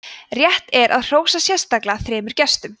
rétt er að hrósa sérstaklega þremur gestum